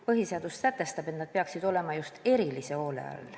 Põhiseadus sätestab, et nad peaksid olema just erilise hoole all.